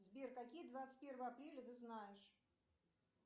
сбер какие двадцать первое апреля ты знаешь